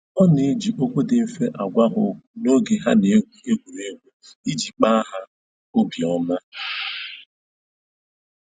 Ọ na-eji okwu dị mfe agwa ha okwu n'oge ha na-egwu egwuregwu iji kpa ha obi ọma